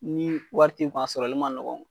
Ni wari t'i kun a sɔrɔli ma nɔgɔn.